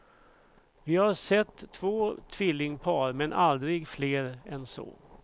Vi har sett två tvillingpar men aldrig fler än så.